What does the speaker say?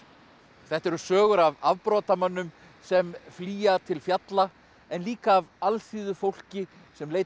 þetta eru sögur af afbrotamönnum sem flýja til fjalla en líka af alþýðufólki sem leitar